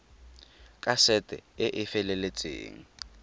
ka sete e e feleletseng